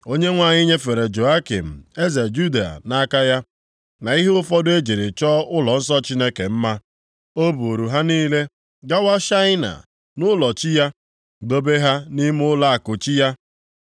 Onyenwe anyị nyefere Jehoiakim, eze Juda nʼaka ya, na ihe ụfọdụ e jiri chọọ ụlọnsọ Chineke mma. O buuru ha niile gawa Shaịna nʼụlọ chi ya, dobe ha nʼime nʼụlọakụ chi ya.